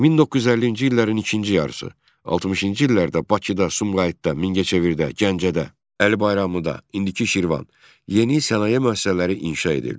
1950-ci illərin ikinci yarısı 60-cı illərdə Bakıda, Sumqayıtda, Mingəçevirdə, Gəncədə, Əli Bayramlıda, indiki Şirvan, yeni sənaye müəssisələri inşa edildi.